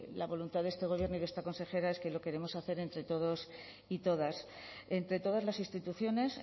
la voluntad de este gobierno y de esta consejera es que lo queremos hacer entre todos y todas entre todas las instituciones